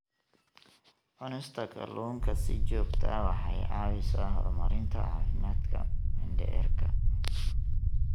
Cunista kalluunka si joogto ah waxay caawisaa horumarinta caafimaadka mindhicirka.